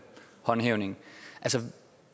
håndhævelse